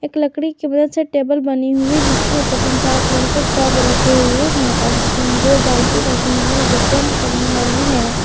एक लकड़ी की मदद से टेबल बनी हुई जिसके ऊपर तीन चार कलर के टब रखे हुए हैं और तीन दो बाल्टी रखे हुए जो पेंट करने वाली है।